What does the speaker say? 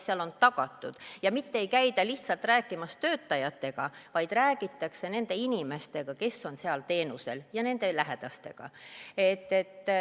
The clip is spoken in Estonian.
Ei käida lihtsalt rääkimas töötajatega, vaid räägitakse nende inimestega, kes on seal teenusel, ja nende lähedastega.